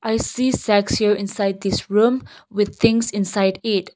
i see inside this room with things inside it.